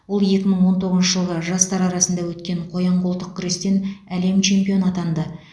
ол екі мың он тоғызыншы жылғы жастар арасында өткен қоян қолтық күрестен әлем чемпионы атанды